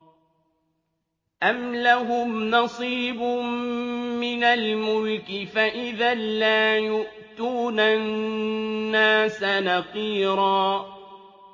أَمْ لَهُمْ نَصِيبٌ مِّنَ الْمُلْكِ فَإِذًا لَّا يُؤْتُونَ النَّاسَ نَقِيرًا